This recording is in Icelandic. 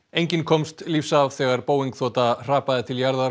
enginn komst lífs af þegar Boeing þota hrapaði til jarðar